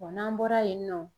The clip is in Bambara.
n'an bɔra yen nɔ